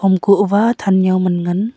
amkuh uwa than jao man ngan.